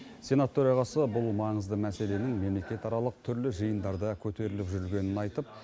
сенат төрағасы бұл маңызды мәселенің мемлекетаралық түрлі жиындарда көтеріліп жүргенін айтып